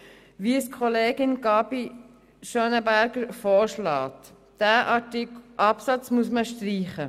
Wie es Kollegin Gabi Schönenberger vorschlägt, muss man diesen Absatz streichen.